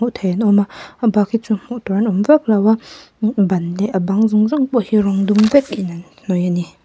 an awm a a bak hi chu hmuh tur an awm vak lo a ban leh a bang zawng zawng pawh hi rawng dum vek in an hnawih a ni.